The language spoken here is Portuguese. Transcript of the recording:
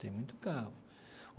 Tem muito carro.